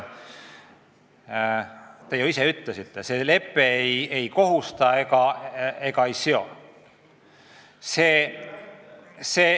Te ju ise ütlesite, see lepe ei kohusta ega ei seo.